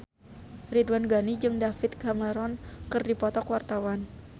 Ridwan Ghani jeung David Cameron keur dipoto ku wartawan